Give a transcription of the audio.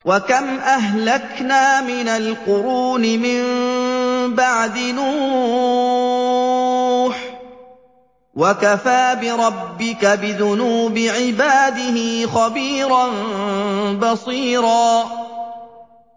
وَكَمْ أَهْلَكْنَا مِنَ الْقُرُونِ مِن بَعْدِ نُوحٍ ۗ وَكَفَىٰ بِرَبِّكَ بِذُنُوبِ عِبَادِهِ خَبِيرًا بَصِيرًا